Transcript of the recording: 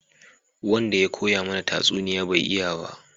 Wanda ya koya mana tatsuniya bai iya ba